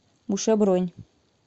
буше бронь